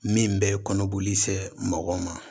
Min bɛ kɔnɔboli se mɔgɔ ma